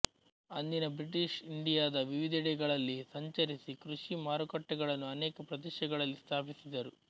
ಅಂದಿನ ಬ್ರಿಟಿಷ್ ಇಂಡಿಯದ ವಿವಿಧೆಡೆಗಳಲ್ಲಿ ಸಂಚರಿಸಿ ಕೃಷಿ ಮಾರುಕಟ್ಟೆಗಳನ್ನು ಅನೇಕ ಪ್ರದೇಶಗಳಲ್ಲಿ ಸ್ಥಾಪಿಸಿದರು